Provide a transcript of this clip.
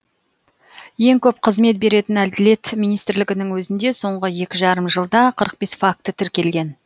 ең көп қызмет беретін әділет министрлігінің өзінде соңғы екі жарым жылда қырық бес факті тіркелген